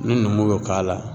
Ni numu y'o k'a la